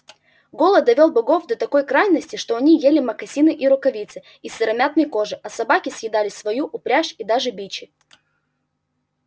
голод довёл богов до такой крайности что они ели мокасины и рукавицы из сыромятной кожи а собаки съедали свою упряжь и даже бичи